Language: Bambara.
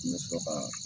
N bɛ sɔrɔ ka